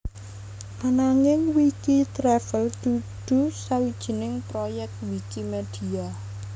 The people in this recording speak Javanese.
Ananging Wikitravel dudu sawijining proyek Wikimedia